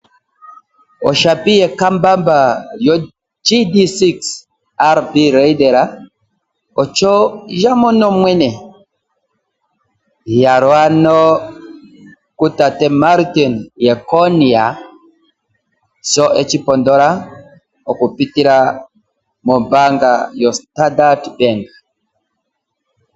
Oshapi yekambamba yo GD-6 TB Raider osho ya mono mwene. Iyalo ano ku tate Martin Jeckonia sho eshi pondola, okupitila mombaanga yo Standard Bank.